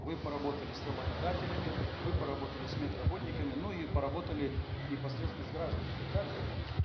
вы поработали с работодателями вы поработали с медработниками ну и поработали непосредственно с гражданами так да